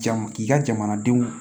Jama k'i ka jamanadenw